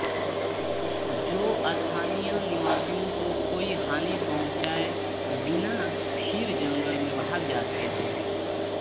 जो स्थानीय निवासियों को कोई हानि पहुंचाए बिना फिर जंगल में भाग जाते थे